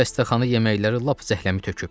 Bu xəstəxana yeməkləri lap zəhləmi töküb.